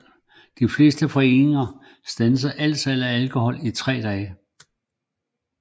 De fleste forretninger standsede alt salg af alkohol i tre dage